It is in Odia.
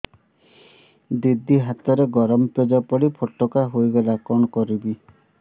ଦିଦି ହାତରେ ଗରମ ପେଜ ପଡି ଫୋଟକା ହୋଇଗଲା କଣ କରିବି